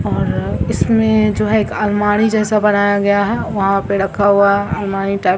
और अअ इसमें जो हे एक अलमारी जैसा बनाया गया है वहां पे रखा हुआ है अलमारी टाइप --